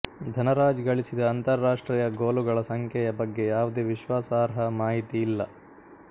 ಧನರಾಜ್ ಗಳಿಸಿದ ಅಂತರರಾಷ್ಟ್ರೀಯ ಗೋಲುಗಳ ಸಂಖ್ಯೆಯ ಬಗ್ಗೆ ಯಾವುದೇ ವಿಶ್ವಾಸಾರ್ಹ ಮಾಹಿತಿ ಇಲ್ಲ